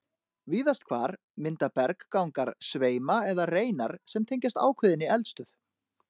Víðast hvar mynda berggangar sveima eða reinar sem tengjast ákveðinni eldstöð.